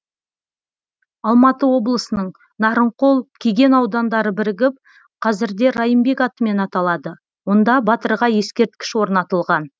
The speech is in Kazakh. алматы облысының нарынқол кеген аудандары бірігіп қазірде райымбек атымен аталады онда батырға ескерткіш орнатылған